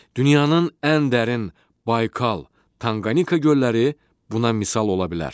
Dünyanın ən dərin Baykal, Tankanika gölləri buna misal ola bilər.